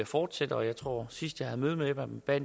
fortsætte og jeg tror at sidst jeg havde møde med dem bad